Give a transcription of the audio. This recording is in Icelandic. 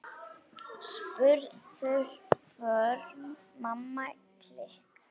Spurður hvort Mamma klikk!